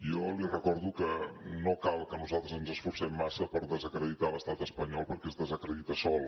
jo li recordo que no cal que nosaltres ens esforcem massa per desacreditar l’estat espanyol perquè es desacredita sol